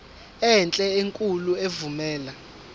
enhle enkulu evumela